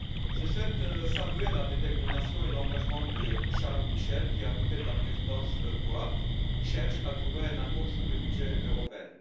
Je souhaite saluer la détermination et l'engagement de Charles Michel qui, aux côtés de la présidence croate, cherche à trouver un accord sur le budget européen.